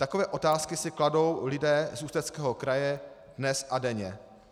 Takové otázky si kladou lidé z Ústeckého kraje dnes a denně.